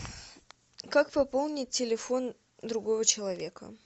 как пополнить телефон другого человека